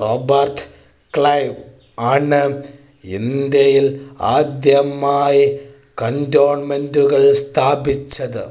Robert Clive ആണ് ഇന്ത്യയിൽ ആദ്യമായി cantonment കൾ സ്ഥാപിച്ചത്.